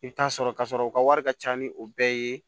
I bɛ taa sɔrɔ ka sɔrɔ u ka wari ka ca ni o bɛɛ ye